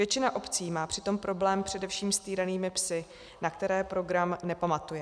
Většina obcí má přitom problém především s týranými psy, na které program nepamatuje.